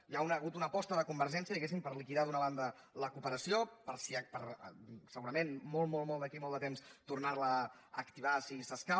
hi ha hagut una aposta de convergència diguéssim per liquidar d’una banda la cooperació per segurament d’aquí a molt molt de temps tornar la a activar si s’escau